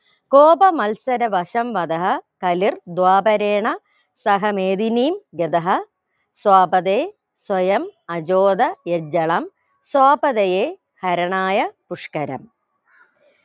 Copa മത്സരവശം വദഹ കലിർ ധ്വാപരേണ സഹമേതിനീ വ്യതഹ സ്വാപതേ സ്വയം അചോത യജ്ജളം സ്വാപതയെ ഹരണായ പുഷ്ക്കരം